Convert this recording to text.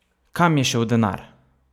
Kam je šel denar?